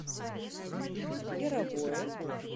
яровое